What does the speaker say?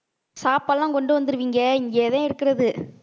சாப்பாடுல்லாம் கொண்டு வந்துடுவீங்க இங்கேதான் இருக்கிறது